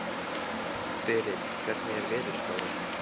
Berit, hvernig er veðurspáin?